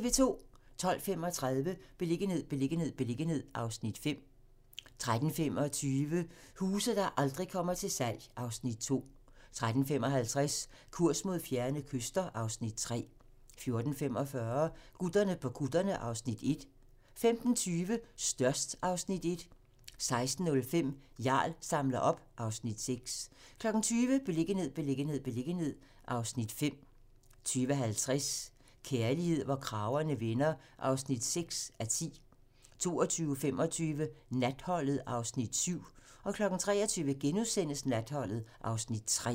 12:35: Beliggenhed, beliggenhed, beliggenhed (Afs. 5) 13:25: Huse, der aldrig kommer til salg (Afs. 2) 13:55: Kurs mod fjerne kyster (Afs. 3) 14:45: Gutterne på kutterne (Afs. 1) 15:20: Størst (Afs. 1) 16:05: Jarl samler op (Afs. 6) 20:00: Beliggenhed, beliggenhed, beliggenhed (Afs. 5) 20:50: Kærlighed, hvor kragerne vender (6:10) 22:25: Natholdet (Afs. 7) 23:00: Natholdet (Afs. 3)*